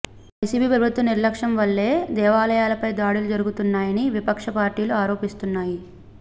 YCP ప్రభుత్వ నిర్లక్ష్యం వల్లే దేవాలయాలపై దాడులు జరుగుతున్నాయని విపక్ష పార్టీలు ఆరోపిస్తున్నాయి